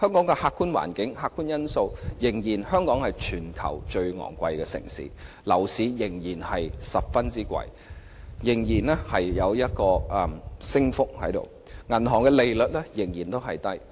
就客觀環境、客觀因素而言，香港仍然是全球最昂貴的城市，樓價仍然很高，升幅仍然很大，銀行利率仍然偏低。